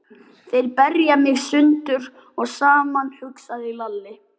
Þeir berja mig sundur og saman, hugsaði Lalli.